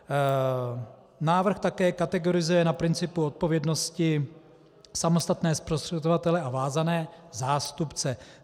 Návrh také kategorizuje na principu odpovědnosti samostatné zprostředkovatele a vázané zástupce.